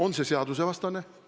On see seadusvastane?